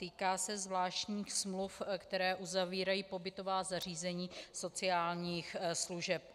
Týká se zvláštních smluv, které uzavírají pobytová zařízení sociálních služeb.